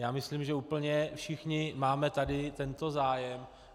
Já myslím, že úplně všichni máme tady tento zájem.